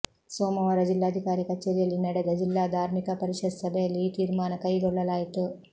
ಸೋಮವಾರ ಜಿಲ್ಲಾಧಿಕಾರಿ ಕಚೇರಿಯಲ್ಲಿ ನಡೆದ ಜಿಲ್ಲಾ ಧಾರ್ಮಿಕ ಪರಿಷತ್ ಸಭೆಯಲ್ಲಿ ಈ ತೀರ್ಮಾನ ಕೈಗೊಳ್ಳಲಾಯಿತು